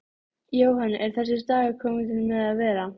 Jóhann: Er þessi dagur kominn til með að vera?